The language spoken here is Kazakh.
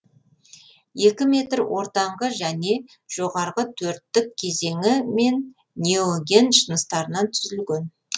екі метр ортаңғы және жоғарғы төрттік кезеңі мен неоген жыныстарынан түзілген